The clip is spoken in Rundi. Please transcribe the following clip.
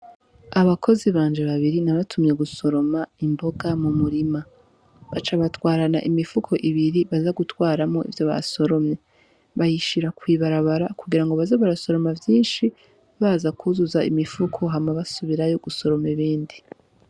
Abakozi banje babiri nabatumye gusoroma imboga mu murima baca batwarana imifuko ibiri baza gutwaramwo ivyo basoromye bayishira kw'ibarabara kugira baze basoroma vyinshi baza kuzuza imifuko hama basubirayo gusoroma ibindi.